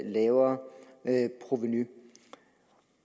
lavere provenu